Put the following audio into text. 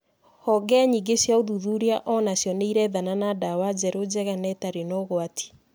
Honge nyingĩ cia ũthuthuria o nacio nĩ irethana na ndawa njerũ njega na itarĩ na ũgwati.